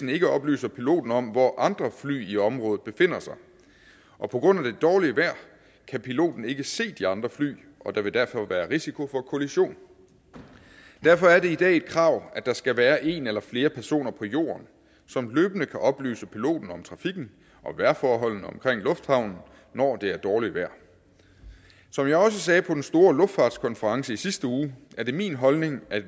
ikke oplyser piloten om hvor andre fly i området befinder sig og på grund af det dårlige vejr kan piloten ikke se de andre fly og der vil derfor være risiko for kollision derfor er det i dag et krav at der skal være en eller flere personer på jorden som løbende kan oplyse piloten om trafikken og vejrforholdene omkring lufthavnen når det er dårligt vejr som jeg også sagde på den store luftfartskonference i sidste uge er det min holdning at